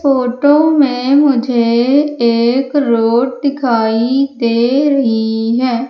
Photo में मुझे एक रोड दिखाई दे रही हैं।